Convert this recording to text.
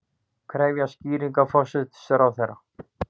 Krefjast skýringa forsætisráðherra